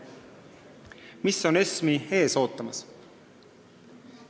Mis ootab ESM-i ees?